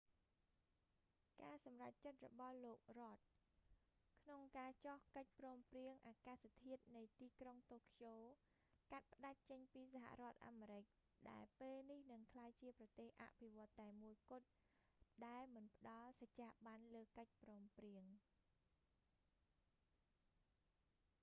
ការសម្រេចចិត្តរបស់លោក rudd រ៉ដ ក្នុងការចុះកិច្ចព្រមព្រៀងអាកាសធាតុនៃទីក្រុងតូក្យូ កាត់ផ្តាច់ចេញពីសហរដ្ឋអាមេរិក ដែលពេលនេះនឹងក្លាយជាប្រទេសអភិវឌ្ឍន៍តែមួយគត់ ដែលមិនផ្តល់សច្ចាប័នលើកិច្ចព្រមព្រៀង